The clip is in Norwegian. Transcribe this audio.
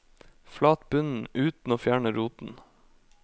Flat bunnen uten å fjerne roten.